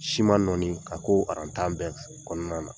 Siman nɔɔni k'a ko tan bɛɛ kɔnɔna na.